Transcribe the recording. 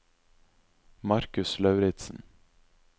Markus Lauritzen